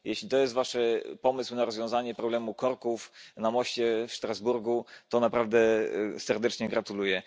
Jeśli to jest wasz pomysł na rozwiązanie problemu korków na moście w Strasburgu, to naprawdę serdecznie gratuluję.